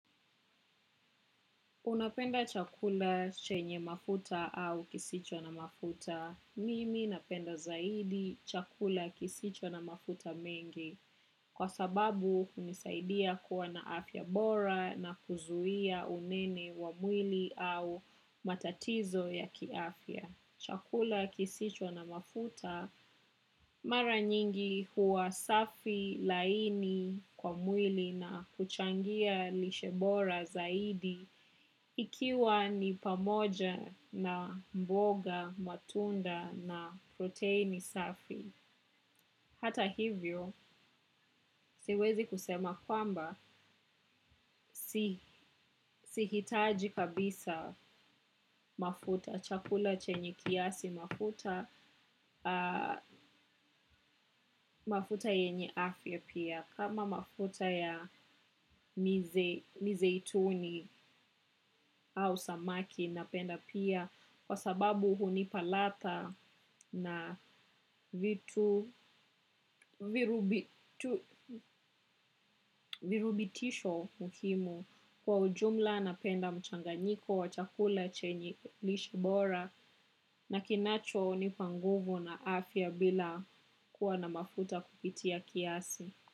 Unapenda chakula chenye mafuta au kisicho na mafuta. Mimi napenda zaidi chakula kisicho na mafuta mengi. Kwa sababu hunisaidia kuwa na afya bora na kuzuia unene wa mwili au matatizo ya kiafya. Chakula kisicho na mafuta mara nyingi huwa safi laini kwa mwili na kuchangia lishe bora zaidi ikiwa ni pamoja na mboga matunda na protini safi. Hata hivyo siwezi kusema kwamba sihitaji kabisa mafuta chakula chenye kiasi mafuta mafuta yenye afya pia kama mafuta ya mizeituni au samaki napenda pia kwa sababu hunipa ladha na vitu virutubitisho muhimu kwa ujumla napenda mchanganyiko. Wachakula chenye lishe bora na kinacho nipanguvu na afya bila kuwa na mafuta kupitia kiasi.